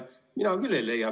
Mina küll seda ei leia.